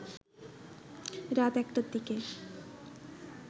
রাত ১টার দিকে